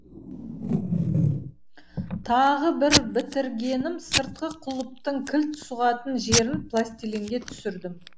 тағы бір бітіргенім сыртқы құлыптың кілт сұғатын жерін пластилинге түсірдім